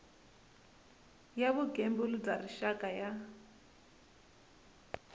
ya vugembuli bya rixaka ya